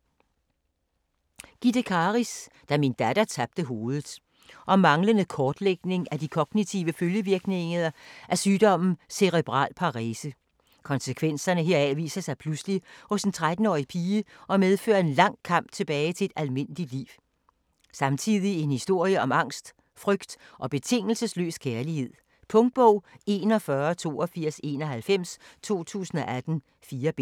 Karis, Gitte: Da min datter tabte hovedet Om manglende kortlægning af de kognitive følgevirkninger af sygdommen Cerebral Parese. Konsekvenserne heraf viser sig pludselig hos en 13-årig pige og medfører en lang kamp tilbage til et almindeligt liv. Samtidig en historie om angst, frygt og betingelsesløs kærlighed. Punktbog 418291 2018. 4 bind.